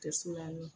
Tɛ suma min